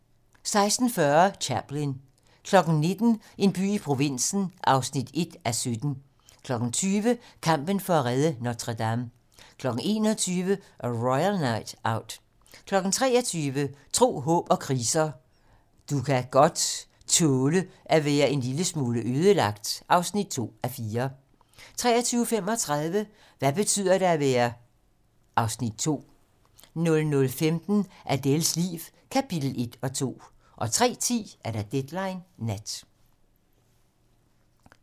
16:40: Chaplin 19:00: En by i provinsen (1:17) 20:00: Kampen for at redde Notre-Dame 21:00: A Royal Night Out 23:00: Tro, håb & kriser: Du kan godt tåle at være en lille smule ødelagt (2:4) 23:35: Hvad betyder det at være (Afs. 2) 00:15: Adèles liv - kapitel 1 og 2 03:10: Deadline nat